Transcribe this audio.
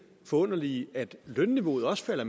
forunderlige at lønniveauet også er